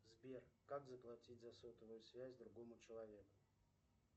сбер как заплатить за сотовую связь другому человеку